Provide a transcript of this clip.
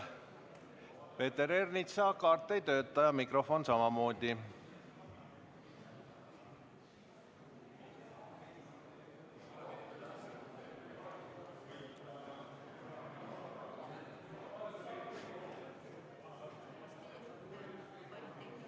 Peeter Ernitsale, palun, mikrofon!